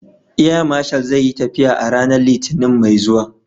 Air Marshal zai yi tafiya a ranar Litinin mai zuwa.